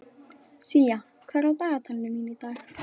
Sía, hvað er á dagatalinu mínu í dag?